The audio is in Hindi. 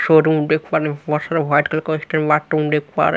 वॉशरूम देख पा रहे है।